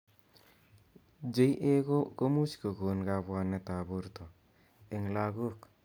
JA komuch kokon kabwanet ab borto eng lakok.